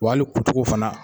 Wa hali kutuku fana.